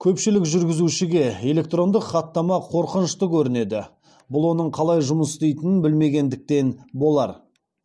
көпшілік жүргізушіге электрондық хаттама қорқынышты көрінеді бұл оның қалай жұмыс істейтінін білмегендіктен болар